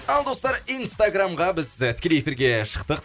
ал достар инстаграмға біз тікелей эфирге шықтық